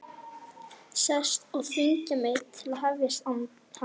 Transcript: Sest og þvinga mig til að hefjast handa.